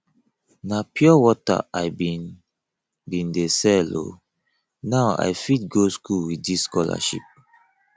na pure wata i bin bin dey sell o now i fit go skool with dis scholarship